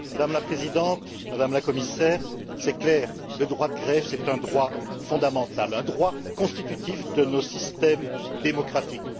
Madame la Présidente, Madame la Commissaire, il est clair que le droit de grève est un droit fondamental, constitutif de nos systèmes démocratiques.